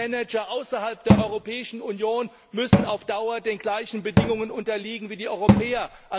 Auch die Manager außerhalb der Europäischen Union müssen auf Dauer den gleichen Bedingungen unterliegen wie die Europäer.